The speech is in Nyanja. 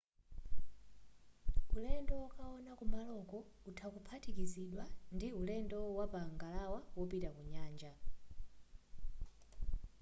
ulendo wokaona kumaloko utha kuphatikizidwa ndi ndi ulendo wapa ngalawa wopita ku nyanja